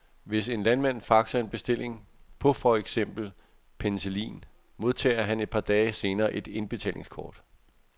Hvis en landmand faxer en bestilling på for eksempel penicillin, modtager han et par dage senere et indbetalingskort.